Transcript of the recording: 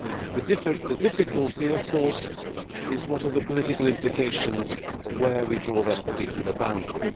The difficulty, of course, lies in the political implications of where we draw that particular boundary.